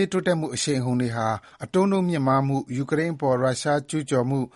ရေးတိုးတက်မှု အရှိန်အဟုန်တွေဟာ အတိုးနှုန်းမြင့်မားမှု၊ ယူကရိန်းအပေါ် ရုရှားကျုးကျော်မှု၊